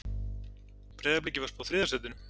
Breiðabliki var spáð þriðja sætinu